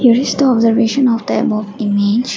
a of the observation of the above image.